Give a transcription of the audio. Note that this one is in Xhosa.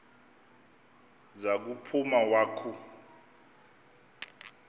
za kuphuma wakhu